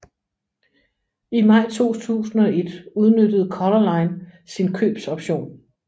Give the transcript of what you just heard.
I maj 2001 udnyttede Color Line sin købsoption